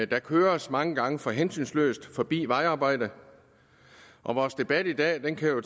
der køres mange gange for hensynsløst forbi et vejarbejde og vores debat i dag kan jo